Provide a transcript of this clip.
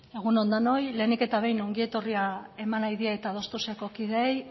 egun on denoi lehenik eta behin ongietorria eman nahi diet adostuz eko kideei